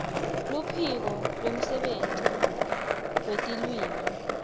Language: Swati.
luphiko lwemsebenti wetilwimi